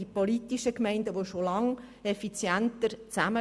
Die politischen Gemeinden arbeiten schon lange effizient zusammen.